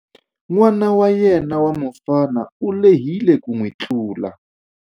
N'wana wa yena wa mufana u lehile ku n'wi tlula.